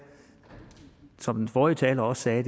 som den forrige taler også sagde at